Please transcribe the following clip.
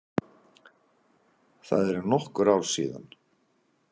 Það eru nokkur ár síðan.